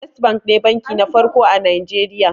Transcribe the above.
First bank ne banki na farko a najeriya